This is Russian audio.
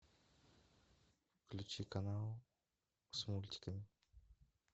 включи канал с мультиками